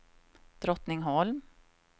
Drottningholm